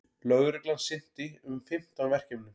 Lögreglan sinnti um fimmtán verkefnum